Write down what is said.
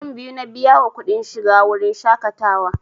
Mutum biyu na biya wa kuɗin shiga wurin shaƙatawa